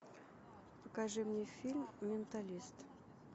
покажи мне фильм менталист